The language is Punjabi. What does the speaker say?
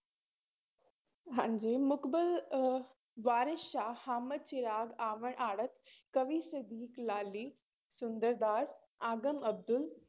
ਹਾਂਜੀ ਮੁਕਬਲ ਅਹ ਵਾਰਿਸ਼ ਸ਼ਾਹ, ਹਾਮਦ ਚਿਰਾਗ, ਆਵਾਣ ਆੜਤ, ਕਵੀ ਸਦੀਕ ਲਾਲੀ, ਸੁੰਦਰਦਾਸ, ਆਗਮ ਅਬਦੁਲ